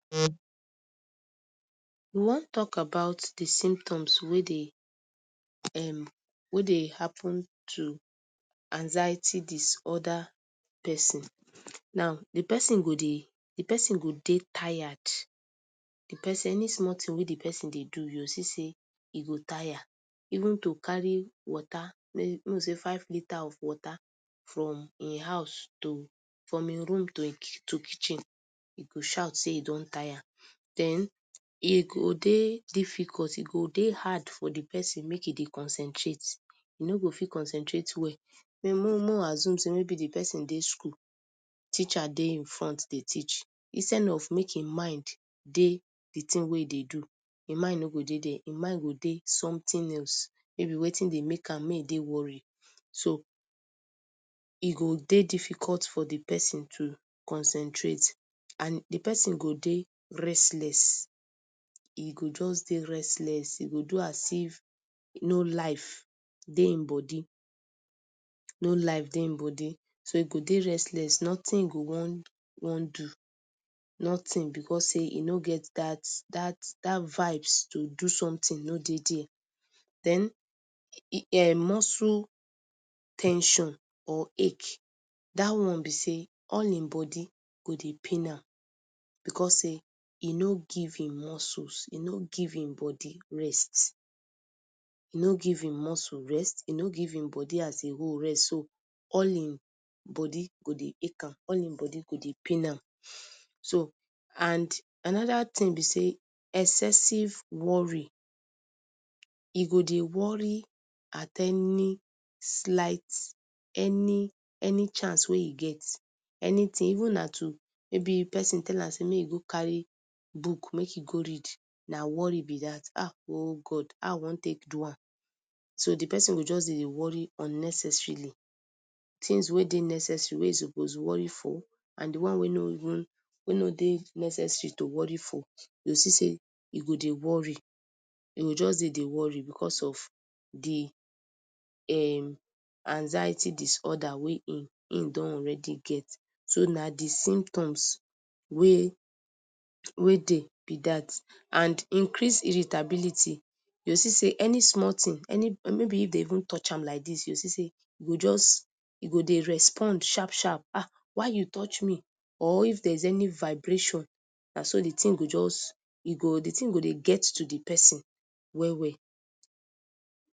We wan talk about d symptoms wey dey[um], wey dey happen to anxiety disorder persin, now d persin go dey, d persin go dey tired, because any small thing wey d persin dey do, u go see sey e go tire, even to carry water, make we say 5 litre of water from hin house to, from hin room to e to kitchen he go shout sey he don tire, den e go dey difficult, e go dey hard for d persin make he dey concentrate, e nor go fit concentrate well, may make we assume sey maybe d persin dey school, teacher dey hin front dey teach, instead of make hin mind dey d thing wey he dey do, hin mind nor go dey dere, e mind go dey something else, mayb wetin dey make am mey e dey worry so e go dey difficult for d persin to concentrate and d persin go dey restless e go jus dey restless, e go do as if no life dey hin body, no life dey hin body, so e go dey restless, nothing he go wan wan do, nothing, because sey he no get dat dat dat vibes to do something no dey there, den, um muscles ten sion or ache, dat one b sey all hin body go dey pain am because sey he no give hin muscles he no go give hin body rest, he no give hin muscle rest, he no give hin body as a whole rest, so all hin body go dey ache am, all hin body go dey pain am, so and anoda thing b sey excessive worry, he go dey worry at any slight, any any chance wey he get anything, even na to, mayb persin tell am sey make he go carry book make he go read na worry b dat, ahn oh God how I wan take do am? So d persin go just dey worry unnecessarily, things wey dey necessary wey he suppose worry for and d one wey even wey no dey necessary to worry for, u go see sey he go dey worry, he go jus dey dey worry, because of d um anxiety disorder wey he he don already get, so na d symptoms wey, wey dey b dat, and increase irritability, u go see sey any small thing, any mayb, if dem even touch am like dis, u go see sey he go jus, e go dey respond sharp sharp, ahh why u touch me, or if there is any vibration, na so the thing go jus, e go, d thing go dey get to d persin well well.